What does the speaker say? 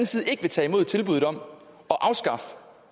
side ikke vil tage imod tilbuddet om